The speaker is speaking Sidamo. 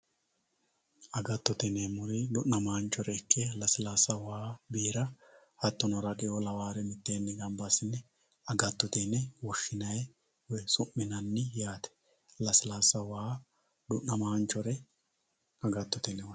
Agattotte yineemori du'namanchurichi lasillaassa, waa, biirra hattono haraqeeo laware mitteenni gamba asine agattotte yine woshinayi woyi su'minanni yaatte, lasilaassa, waa, du'namanichore agattotte yine woshinayi